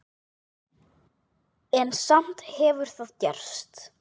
En samt hefur það gerst.